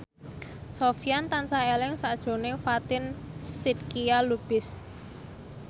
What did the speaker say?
Sofyan tansah eling sakjroning Fatin Shidqia Lubis